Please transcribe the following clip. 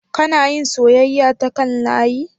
Kana yin soyayya ta kan layi?